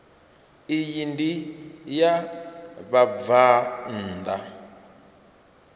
iyi ndi ya vhabvann ḓa